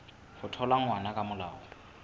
ho thola ngwana ka molao